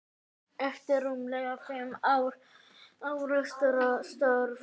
eftir rúmlega fimm ára starf.